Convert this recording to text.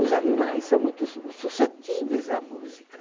Os animais são muito su suscetíveis à música.